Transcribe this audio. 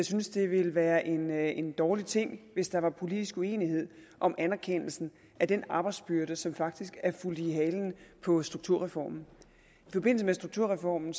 synes det ville være en være en dårlig ting hvis der var politisk uenighed om anerkendelsen af den arbejdsbyrde som faktisk er fulgt i halen på strukturreformen i forbindelse med strukturreformen